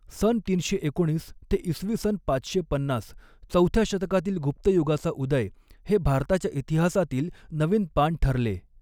सन तीनशे एकोणीस ते इसवी सन पाचशे पन्नास चौथ्या शतकातील गुप्त युगाचा उदय हे भारताच्या इतिहासातील नवीन पान ठरले.